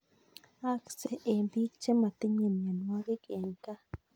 Aaaksei eng bik che matinyei mnyanwogik eng kaa